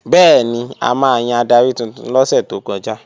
Bẹ́ẹ̀ni, a máa yan adarí tuntun lọ́sẹ̀ tó kọjá